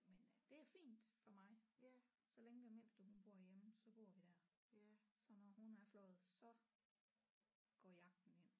Men øh det er fint for mig så længe den mindste hun bor hjemme så bor vi der så når hun er fløjet så går jagten ind